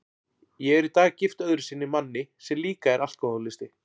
Ég er í dag gift öðru sinni manni sem líka er alkohólisti.